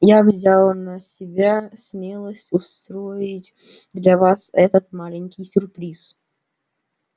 я взяла на себя смелость устроить для вас этот маленький сюрприз